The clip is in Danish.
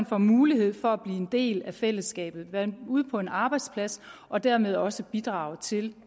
får mulighed for at blive en del af fællesskabet være ude på en arbejdsplads og dermed også bidrage til